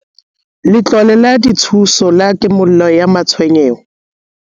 Letlole la Dithuso la Kimollo ya Matshwenyeho